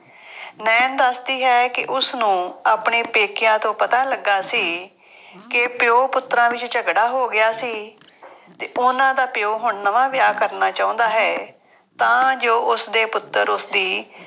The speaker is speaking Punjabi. ਨਾਇਣ ਦੱਸਦੀ ਹੈ ਕਿ ਉਸਨੂੰ ਆਪਣੇ ਪੇਕਿਆਂ ਤੋਂ ਪਤਾ ਲੱਗਾ ਸੀ ਕਿ ਪਿਉ ਪੁੱਤਰਾਂ ਵਿੱਚ ਝਗੜਾ ਹੋ ਗਿਆ ਸੀ ਅਤੇ ਉਹਨਾ ਦਾ ਪਿਉ ਹੁਣ ਨਵਾਂ ਵਿਆਹ ਕਰਨਾ ਚਾਹੁੰਦਾ ਹੈ, ਤਾਂ ਜੋ ਉਸਦੇ ਪੁੱਤਰ ਉਸਦੀ